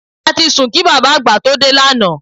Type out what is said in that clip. A ti sùn kí bàbá àgbà tó dé lánàá